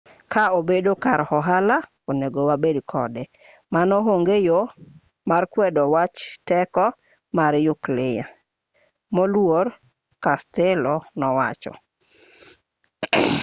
ka obedo kar ohala onego wabed kode mano onge yo mar kwedo wach teko mar nyukliya moluor costello nowacho